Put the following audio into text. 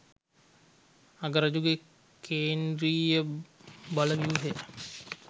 අගරජුගේ කේන්ද්‍රීය බලව්‍යූහය